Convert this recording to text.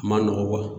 A ma nɔgɔ